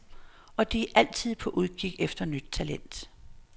Og de er altid på udkig efter nyt talent.